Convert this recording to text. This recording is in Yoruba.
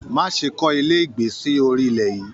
Má ṣe kọ ilé ìgbé sí orí ilẹ yìí!